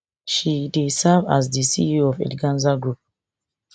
she dey serve as di ceo of eleganza group